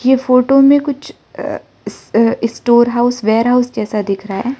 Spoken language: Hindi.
ये फोटो में कुछ अ स्टोर हाउस वेयर हाउस जैसा दिख रहा है।